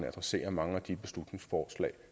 adresserer mange af de beslutningsforslag